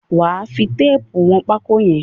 Wà á fi téépù wọn pákó yẹn!